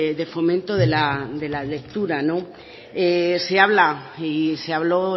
de fomento de la lectura se habla y se habló